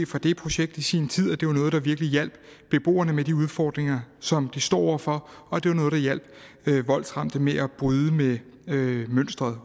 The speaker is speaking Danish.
fra det projekt i sin tid at det var noget der virkelig hjalp beboerne med de udfordringer som de står over for og det var noget der hjalp voldsramte med at bryde med